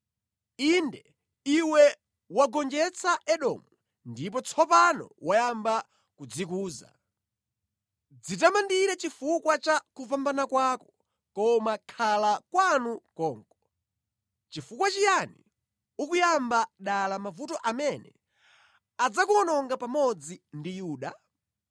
Inde iwe wagonjetsa Edomu ndipo tsopano wayamba kudzikuza. Dzitamandire chifukwa cha kupambana kwako, koma khala kwanu konko! Nʼchifukwa chiyani ukuyamba dala mavuto amene adzakuwononga pamodzi ndi Yuda?”